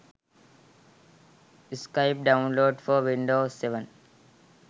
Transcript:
skype download for windows 7